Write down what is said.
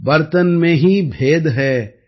பர்த்தன் மே ஹீ பேத் ஹை பானி சப் மே ஏக்